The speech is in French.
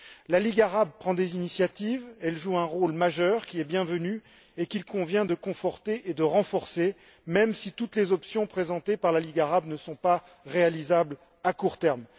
La Ligue arabe prend des initiatives, elle joue un rôle majeur, qui est bienvenu et qu'il convient de conforter et de renforcer, même si toutes les options qu'elle présente ne sont pas réalisables à court terme.